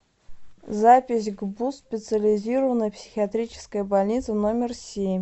запись гбуз специализированная психиатрическая больница номер семь